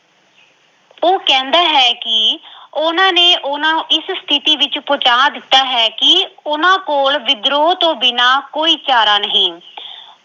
ਉਹ ਕਹਿੰਦਾ ਹੈ ਕਿ ਉਹਨਾਂ ਨੇ ਉਹਨਾਂ ਨੂੰ ਇਸ ਸਥਿਤੀ ਵਿੱਚ ਪਹੁੰਚਾ ਦਿੱਤਾ ਹੈ ਕਿ ਉਹਨਾਂ ਕੋਲ ਵਿਦਰੋਹ ਤੋਂ ਬਿਨ੍ਹਾਂ ਕੋਈ ਚਾਰਾ ਨਹੀਂ।